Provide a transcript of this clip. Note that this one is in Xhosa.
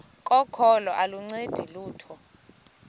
kokholo aluncedi lutho